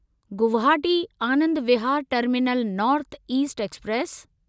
Guwahati Anand Vihar terminal north east express